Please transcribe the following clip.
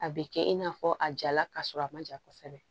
A bɛ kɛ i n'a fɔ a jala ka sɔrɔ a man ja kosɛbɛ